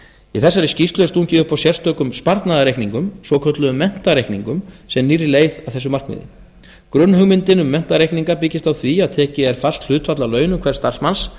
í þessari skýrslu er stungið upp á sérstökum sparnaðarreikningum svokölluðum menntareikningum sem nýrri leið að þessum markmiðum grunnhugmyndin um menntareikninga byggist á því að tekið er fast hlutfall af launum hvers starfsmanns